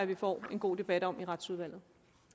vi får en god debat om i retsudvalget